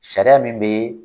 Sariya min bɛ